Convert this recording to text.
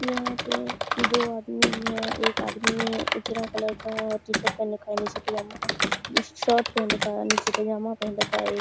यहां पे दो आदमी भी हैं एक आदमी ने उजरा कलर का टी-शर्ट पहन रखा है नीचे पजामा शर्ट पहन रखा नीचे पजामा पहेन रखा एक --